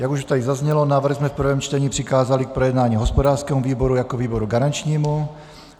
Jak už tady zaznělo, návrh jsme v prvém čtení přikázali k projednání hospodářskému výboru jako výboru garančními.